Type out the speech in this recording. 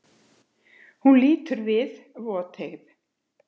Hún lítur við, voteygð.